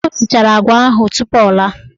O sichara agwa ahụ tupu o laa.